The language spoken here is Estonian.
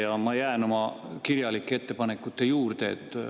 Ja ma jään oma kirjalike ettepanekute juurde.